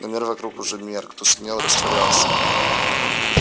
но мир вокруг уже мерк тускнел растворялся